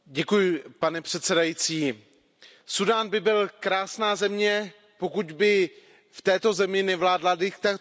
Pane předsedající, Súdán by byl krásná země, pokud by v této zemi nevládla diktatura.